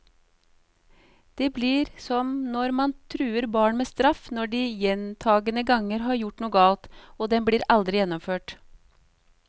Det blir som når man truer barn med straff når de gjentagende ganger har gjort noe galt, og den aldri blir gjennomført.